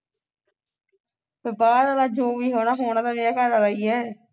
ਬਾਹਰ ਵਾਲਾ ਜੋ ਵੀ ਹੋਣਾ ਹੋਣਾ ਤੇ ਮੇਰਾ ਘਰ ਵਾਲਾ ਹੀ ਹੈ